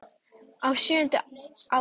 Á sjöunda ári